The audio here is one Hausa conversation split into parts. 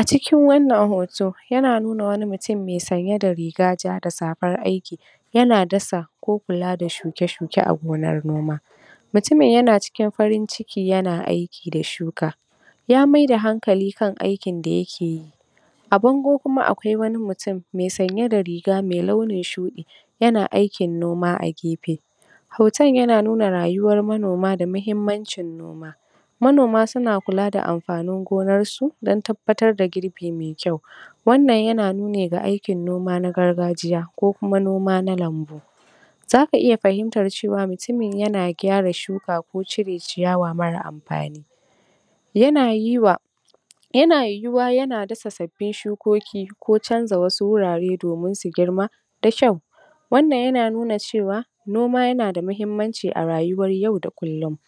a cikin wannan hoto yana nuna wani mutum mai sanye da riga ja da safar aiki yana dasa ko kula da shuke shuke a gonar noma mutumin yana cikin farin ciki yana aiki da shuka ya maida hankali kan aikin da yakeyi a bango kuma akwai wani mutum mai sanye da riga mai launin shuɗi yana aikin noma a gefe hoton yana nuna rayuwar manoma da mahimmancin noma manoma suna kula da amfanin gonan su don tabbatar da girbi me kyau wannan yana nuni ga aiki noma na gargajiya ko kuma noma na lambu zaka iya fahimtar cewa mutumin yana gyara shuka ko cire ciyawa mara amfani yana yi wa yana yiwuwa yana dasa sabbin shukoki ko canza wasu wurare domin su girma da kyau wannan yana nuna cewa noma yana da mahimmanci a rayuwar yau da kullin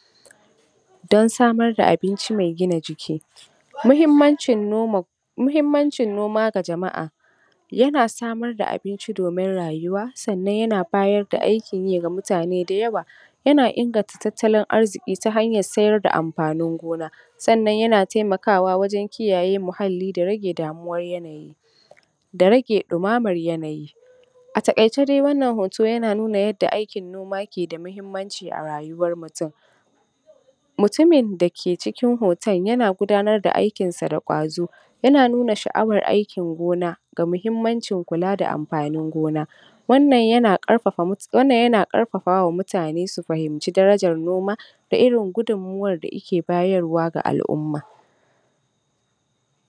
don samar da abinci me gina jiki mahimmancin noma mahimmancin noma ga jama'a yana samar da abinci domin rayuwa sannan yana bayar da aikin yi ga mutane da yawa yana inganta tattalin arziƙ i ta hanyar siyar da amfanin gona sannan yana taimakawa wajen kiyaye muhalli da rage damuwar yanayi da rage ɗumaman yanayi a taƙaice da wannan hoto yana nuna yanda aikin noma ke da mahimmanci a rayuwar mutum mutumin da ke cikin hoton yana gudanar da aikin sa da ƙwazo yana nuna sha'awar aikin gona ga mahimmancin kula da amfanin gona wannan yana ƙarfafa mutum wannan yana ƙarfafa wa mutane su fahimce darajar noma da irin gudunmuwar da ike bayarwa ga al'umma